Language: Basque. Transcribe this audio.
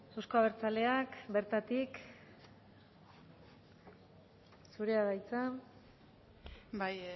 euzko abertzaleak bertatik zurea da hitza bai